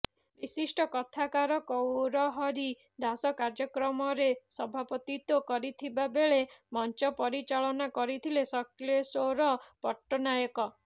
ବିଶିଷ୍ଟ କଥାକାର ଗୌରହରି ଦାସ କାର୍ଯ୍ୟକ୍ରମରେ ସଭାପତିତ୍ୱ କରିଥିବା ବେଳେ ମଞ୍ଚ ପରିଚାଳନା କରିଥିଲେ ଶକ୍ଳେଶ୍ୱର ପଟ୍ଟନାୟକ